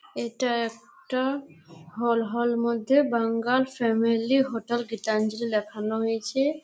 এটা একটা হল হল মধ্যে বাঙাল ফ্যামিলি হোটেল গীতাঞ্জলি লেখানো হয়েছে--